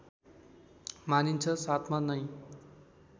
मानिन्छ साथमा नै